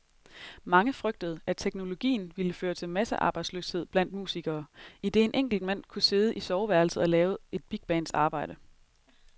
Mange frygtede, at teknologien ville føre til massearbejdsløshed blandt musikere, idet en enkelt mand kunne sidde i soveværelset og lave et bigbands arbejde.